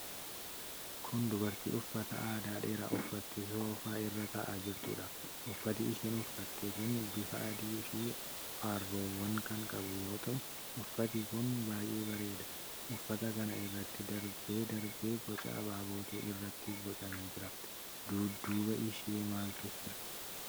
Kun dubarttii uffata aadaa dheeraa uffattee soofaa irra taa'aa jirtuudha. Uffati isheen uffatte kun bifa adii fi arroowa kan qabu yoo ta'u, uffati kun baay'ee bareeda. Uffata kana irratti darbee darbee boca abaabootu irratti bocamee jira. Dudduuba ishee maaltu jira?